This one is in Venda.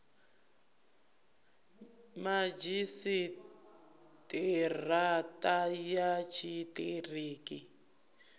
madzhisi ṱira ṱa ya tshiṱiriki